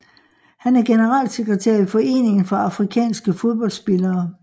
Han er generalsekretær i Foreningen for afrikanske fodboldspillere